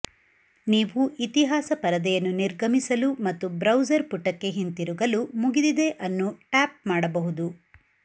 ನೀವು ಇತಿಹಾಸ ಪರದೆಯನ್ನು ನಿರ್ಗಮಿಸಲು ಮತ್ತು ಬ್ರೌಸರ್ ಪುಟಕ್ಕೆ ಹಿಂತಿರುಗಲು ಮುಗಿದಿದೆ ಅನ್ನು ಟ್ಯಾಪ್ ಮಾಡಬಹುದು